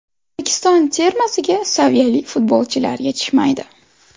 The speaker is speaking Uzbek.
O‘zbekiston termasiga saviyali futbolchilar yetishmaydi.